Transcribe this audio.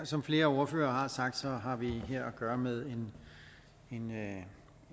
som flere ordførere har sagt har vi her at gøre med